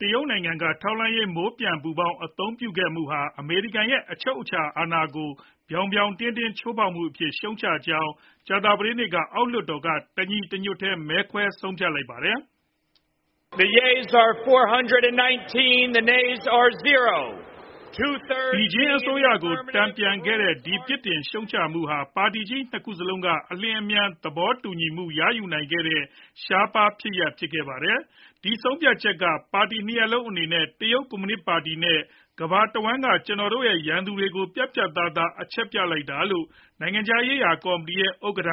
တရုတ်နိုင်ငံက ထောက်လှမ်းရေး မိုးပျံ ပူဖောင်း အသုံးပြုခဲ့မှုဟာ အမေရိကန်ရဲ့ အချုပ်အခြာအာဏာကို ပြောင်ပြောင်တင်းတင်း ချိုးဖောက်မှုအဖြစ် ရှုတ်ချကြောင်း ကြာသပတေးနေ့မှာ အောက်လွှတ်တော်က တညီတညွတ်တည်း မဲခွဲဆုံးဖြတ်ခဲ့ကြပါတယ်။ ဘေဂျင်း အစိုးရကို တန်ပြန်ခဲ့ကြတဲ့ ဒီပြစ်တင်ရှုတ်ချမှုဟာ ပါတီကြီး နှစ်ခုစလုံးက အလျင်အမြန် သဘောတူညီမှု ရယူနိုင်ခဲ့ကြတဲ့ ရှားပါးဖြစ်ရပ်ဖြစ်ခဲ့ပါတယ်။ "ဒီဆုံးဖြတ်ချက်က ပါတီ နှစ်ရပ်လုံး အနေနဲ့ တရုတ်ကွန်မြူနစ် ပါတီနဲ့ ကမ္ဘာတဝှမ်းက ကျွန်တော်တို့ရဲ့ ရန်သူတွေကို ပြတ်ပြတ်သားသား အချက်ပြလိုက်တာ" လို့ နိုင်ငံခြားရေးရာကော်မတီရဲ့ ဥက္ကဋ္ဌ